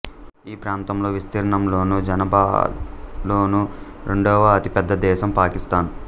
ఈ ప్రాంతంలో విస్తీర్ణంలోను జనాభాలోను రెండవ అతిపెద్ద దేశం పాకిస్థాన్